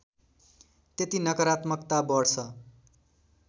त्यति नकरात्मकता बढ्छ